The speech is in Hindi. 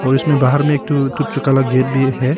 और इसमें बाहर में गेट भी है।